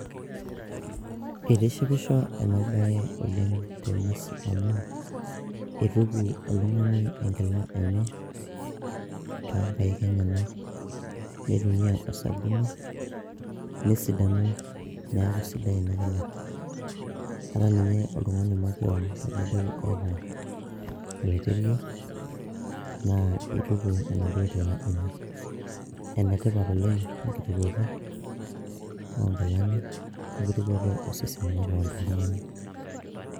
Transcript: itishipisho ena baye oleng teneesi amu ituku oltung'ani enkila enye tonkaik enyenak nitumia osabuni nesidanu neeku sidai ina kila ata ninye oltung'ani makewon tenidol eeta oloiterio naa ituku enaduo kila enye enetipat oleng enkitukuoto onkilani wenkitukuoto osesen makewon toltung'ani.